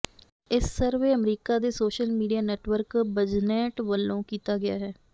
ਇਸ survey America ਦੇ social media network ਬਜ਼ਨੈਂਟ ਵੱਲੋਂ ਕੀਤਾ ਗਿਆ